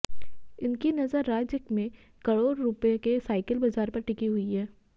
इनकी नजर राज्य में करोड़ रुपये के साइकिल बाजार पर टिकी हुई है